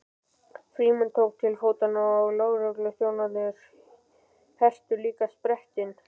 Frímann tók til fótanna og lögregluþjónarnir hertu líka sprettinn.